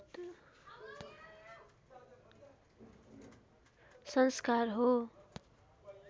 संस्कार हो